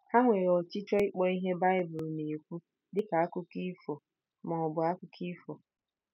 Ha nwere ọchịchọ ịkpọ ihe Bible na-ekwu dị ka akụkọ ifo ma ọ bụ akụkọ ifo.